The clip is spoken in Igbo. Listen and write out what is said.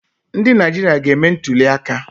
Ndị Naijiria ga-eme ntụliaka